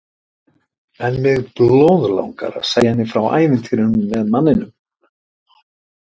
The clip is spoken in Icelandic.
En mig blóðlangar að segja henni frá ævintýrinu með manninum.